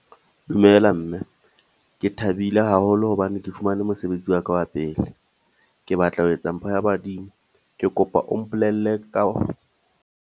Dumela mme, ke thabile haholo hobane ke fumane mosebetsi wa ka wa pele. Ke batla ho etsa mpho ya badimo, ke kopa o mpolelle ka.